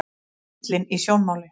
Ellin í sjónmáli.